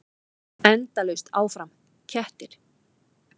Endalaust áfram: kettir.